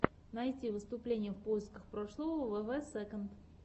найти выступления в поисках прошлого вв сэконд